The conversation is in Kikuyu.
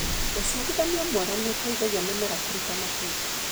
ũciarithania mwega nĩũteithagia mĩmera kũruta matunda.